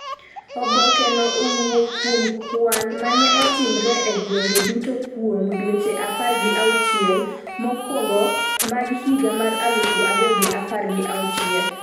oboke no owuok kuom kwan ma ne otimre e gwenge duto kuom dweche apar gi auchiel mokwongo mag higa mar aluf ariyo gi apar gi auchiel